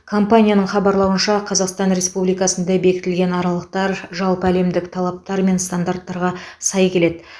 компанияның хабарлауынша қазақстан республикасында бекітілген аралықтар жалпы әлемдік талаптар мен стандарттарға сай келеді